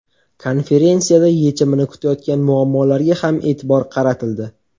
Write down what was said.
Konferensiyada yechimini kutayotgan muammolarga ham e’tibor qaratildi.